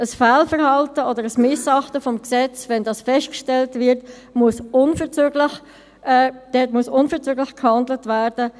Wenn ein Fehlverhalten oder ein Missachten des Gesetzes festgestellt wird, muss unverzüglich gehandelt werden;